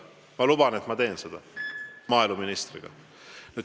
Ma luban, et ma teen seda, arutan maaeluministriga.